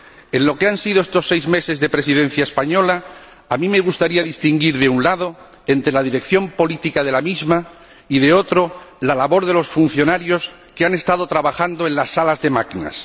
En lo que han sido estos seis meses de Presidencia española, a mí me gustaría distinguir entre, de un lado, la dirección política de la misma y, de otro, la labor de los funcionarios que han estado trabajando en las salas de máquinas.